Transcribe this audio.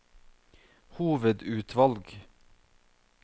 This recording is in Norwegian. hovedutvalg